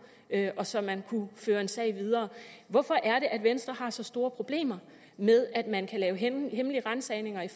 og så man kunne føre en sag videre hvorfor er det at venstre har så store problemer med at man kan lave hemmelige ransagninger i